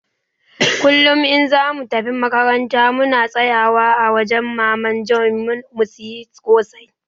kullum in zamu tafi makarantar muna tsayawa a wajan maman Joe mu siya kosai